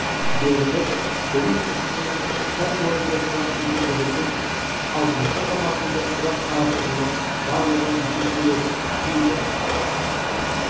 беріліп оның ішінен пән бойынша сұрақ есептелетін ал жылғы форматында сұрақ қарастырылып барлығы есептеледі кейбір